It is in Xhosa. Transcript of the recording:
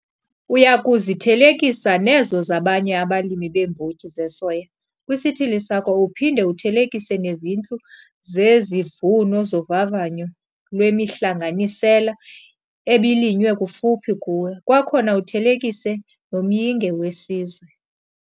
Uya kuzithelekisa nezo zabanye abalimi beembotyi zesoya kwisithili sakho uphinde uthelekise nezintlu zezivuno zovavanyo lwemihlanganisela ebilinywe kufuphi kuwe, kwakhona uthelekise nomyinge wesizwe.